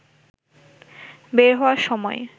বের হওয়ার সময়